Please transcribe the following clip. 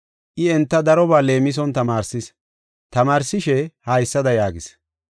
I enta darobaa leemison tamaarsis. Tamaarsishe haysada yaagis: